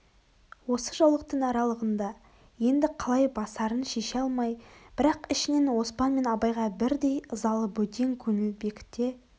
осы жаулықтың аралығында енді қалай басарын шеше алмай бірақ ішінен оспан мен абайға бірдей ызалы бөтен көңіл бекіте